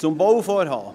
Zum Bauvorhaben: